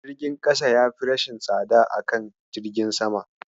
Jirgin ƙasa yafi rashin tsada a kan jirgin sama.